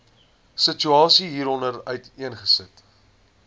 situasie hieronder uiteengesit